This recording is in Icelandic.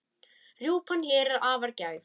Rjúpan hér er afar gæf.